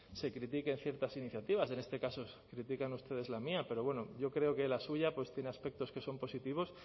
se critiquen ciertas iniciativas en este caso critican ustedes la mía pero bueno yo creo que la suya tiene aspectos que son positivos